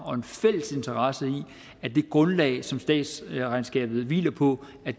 og en fælles interesse i at det grundlag som statsregnskabet hviler på